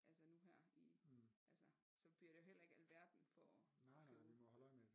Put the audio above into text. Altså nu her i altså så bliver det jo heller ikke alverden for at købe